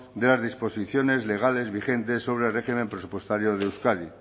de las disposiciones legales vigentes sobre el régimen presupuestario de euskadi